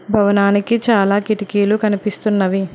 భవనానికి చాలా కిటికీలు కనిపిస్తున్నవి.